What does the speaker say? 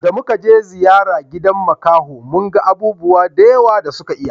Da muka je ziyara gidan makaho mun ga abubuwa da yawa da suka iya